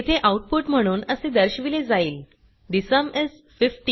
येथे आउटपुट म्हणून असे दर्शविले जाईल ठे सुम इस 15